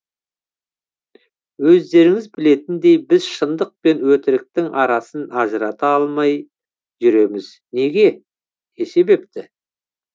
өздеріңіз білетіндей біз шыңдық пен өтіріктің арасын ажырата алмай жүреміз неге не себепті